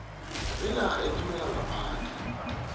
benarha ethumela ngaphandle